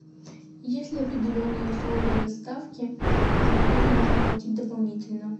есть ли определенные условия доставки за которые нужно платить дополнительно